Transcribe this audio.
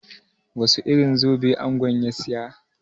Wasu irin zobe angon ya siya?